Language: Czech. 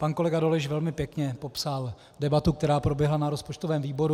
Pan kolega Dolejš velmi pěkně popsal debatu, která proběhla na rozpočtovém výboru.